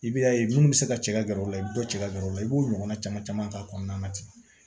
I b'a ye minnu bɛ se ka cɛ ka gɛrɛ u la i bɛ dɔ cɛ ka gɛrɛ u la i b'o ɲɔgɔnna caman caman k'a kɔnɔna na ten